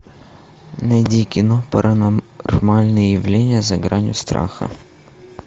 найди кино паранормальное явление за гранью страха